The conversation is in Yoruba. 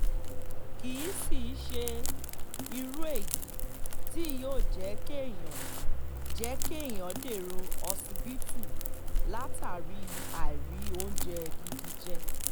kì í sì í ṣe irú èyí tí yóò jẹ́ kéèyàn jẹ́ kéèyàn dèrò ọsibítù látàrí àìrí oúnjẹ gidi jẹ